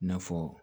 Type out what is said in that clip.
N'a fɔ